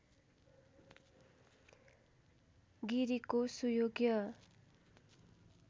गिरिको सुयोग्य